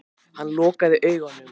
Hann lokaði augunum.